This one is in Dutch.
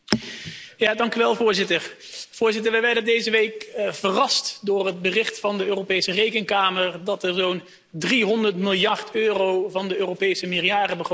Voorzitter, wij werden deze week verrast door het bericht van de Europese Rekenkamer dat er zo'n 300 miljard euro van de Europese meerjarenbegroting op de plank blijft liggen.